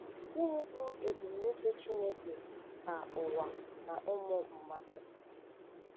Gịnị bụ ebumnuche Chineke maka ụwa na ụmụ mmadụ?